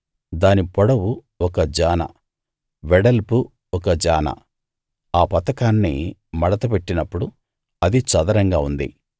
దాని పొడవు ఒక జాన వెడల్పు ఒక జాన ఆ పతకాన్ని మడత పెట్టినప్పుడు అది చదరంగా ఉంది